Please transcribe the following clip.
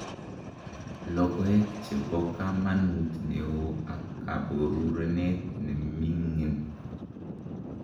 Logoek che bo kamanut ne oo ak kaboorunet ne ming'in